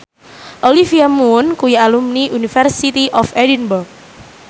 Olivia Munn kuwi alumni University of Edinburgh